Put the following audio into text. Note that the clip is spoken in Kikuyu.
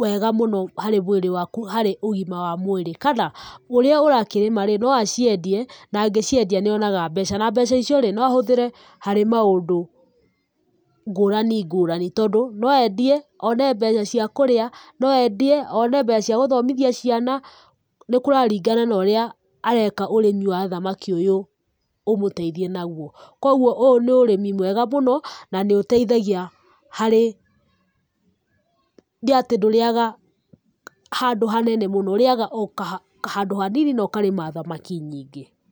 wega mũno harĩ mwĩrĩ waku, harĩ ũgima wa mwĩrĩ. Kana, ũrĩa ũrakĩrĩma rĩ, no aciendie, na angĩciendia nĩonaga mbeca, na mbeca icio no ahũthĩre harĩ maundu ngũrani ngũrani. Tondũ no endie one mbeca cia kũrĩa, no endie one mbeca cia gũthomithia ciana, nĩ kũraringana na ũrĩa areka urĩmi wa thamaki ũyũ, ũmũteithie naguo. Kwoguo ũyũ nĩ ũrĩmi mwega mũno na nĩũteithagia harĩ atĩ ndũrĩaga handũ hanene mũno, ũrĩaga o handũ hanini, na ũkarĩma thamaki nyingĩ.